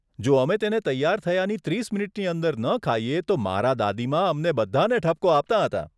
જો અમે તેને તૈયાર થયાની ત્રીસ મિનિટની અંદર ન ખાઈએ તો મારાં દાદીમા અમને બધાને ઠપકો આપતાં હતાં.